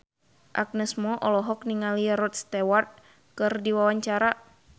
Agnes Mo olohok ningali Rod Stewart keur diwawancara